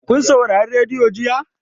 Kun saurari rediyo jiya?